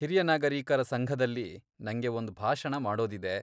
ಹಿರಿಯ ನಾಗರೀಕರ ಸಂಘದಲ್ಲಿ ನಂಗೆ ಒಂದ್ ಭಾಷಣ ಮಾಡೋದಿದೆ.